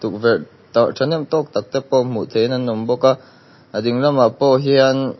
tah ṭhahnem tawk tak te pawh hmuh theihin an awm bawk a a dinglam pawh hian.